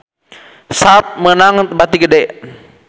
Sharp meunang bati gede